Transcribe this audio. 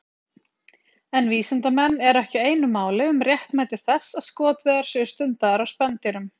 En vísindamenn eru ekki einu máli um réttmæti þess að skotveiðar séu stundaðar á spendýrum.